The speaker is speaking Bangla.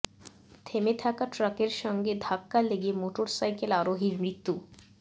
থেমে থাকা ট্রাকের সঙ্গে ধাক্কা লেগে মোটরসাইকেল আরোহীর মৃত্যু